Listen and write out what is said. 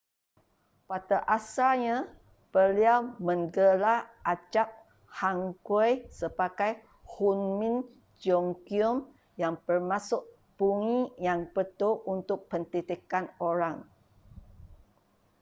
pada asalnya beliau menggelar abjad hanguel sebagai hunmin jeongeum yang bermaksud bunyi yang betul untuk pendidikan orang